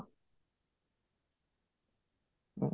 ହୁଁ